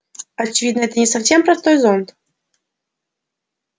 очевидно это не совсем простой зонт